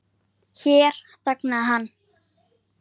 Hér þagnaði hann.